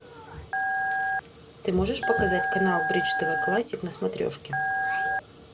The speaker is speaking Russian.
ты можешь показать канал бридж тв классик на смотрешке